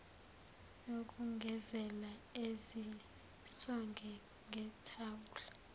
yokugezela ezisonge ngethawula